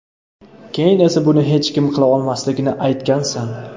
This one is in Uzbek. Keyin esa buni hech kim qila olmasligini aytgansan.